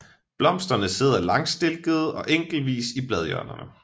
Blomsterne sidder langstilkede og enkeltvis i bladhjørnerne